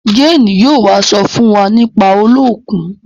Jane yóò wá so fún wá nípa Oluokun